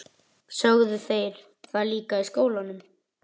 Sögðu þeir það líka í skólanum?